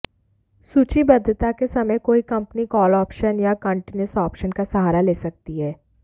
सूचीबद्धता के समय कोई कंपनी कॉल ऑप्शन या कंटीन्युअस ऑप्शन का सहारा ले सकती है